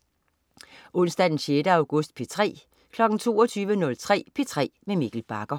Onsdag den 6. august - P3: